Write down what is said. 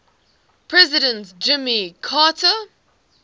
president jimmy carter